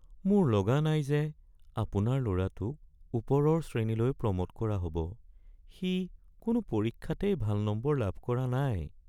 মোৰ লগা নাই যে আপোনাৰ ল’ৰাটোক ওপৰৰ শ্ৰেণীলৈ প্ৰ’ম’ট কৰা হ'ব। সি কোনো পৰীক্ষাতেই ভাল নম্বৰ লাভ কৰা নাই।